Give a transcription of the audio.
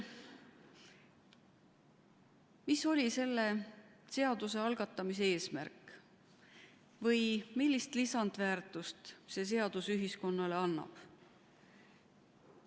Mis oli selle seaduse algatamise eesmärk või millist lisandväärtust see seadus ühiskonnale annab?